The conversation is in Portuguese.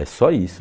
É só isso.